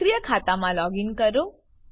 સક્રિય ખાતામાં લોગીન કરો